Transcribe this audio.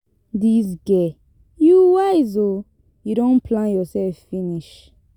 Dis girl, you wise ooo, you don plan yourself finish.